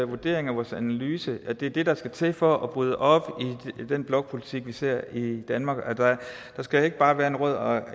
vurdering og vores analyse at det er det der skal til for at bryde op i den blokpolitik vi ser i danmark der skal ikke bare være en rød og